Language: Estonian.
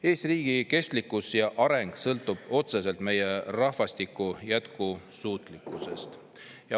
Eesti riigi kestlikkus ja areng sõltub otseselt meie rahvastiku jätkusuutlikkusest.